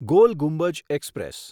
goal Gumbaz express